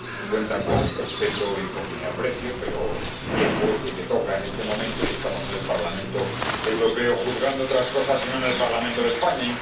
Cuentan con mi respeto y con mi aprecio, pero el tiempo es el que toca en este momento y estamos en el Parlamento Europeo juzgando otras cosas y no en el Parlamento de España.